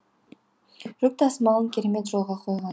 жүк тасымалын керемет жолға қойған